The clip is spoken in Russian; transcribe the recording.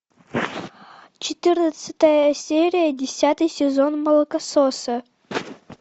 четырнадцатая серия десятый сезон молокососы